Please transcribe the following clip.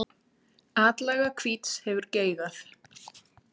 Atlaga hvíts hefur geigað.